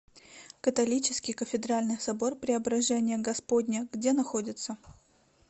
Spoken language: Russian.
католический кафедральный собор преображения господня где находится